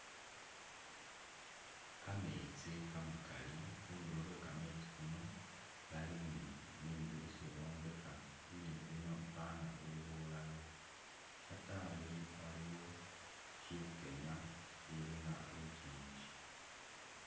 Kametsi kamakaali khundulo khwe kametsi Khuno bali ni bindu byesi bombekha bindu bino fana buli bulalo shatayi iliyi shikenta shilinga lunkingi